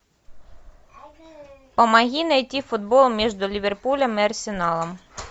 помоги найти футбол между ливерпулем и арсеналом